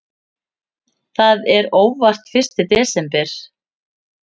Það er óvart fyrsti desember.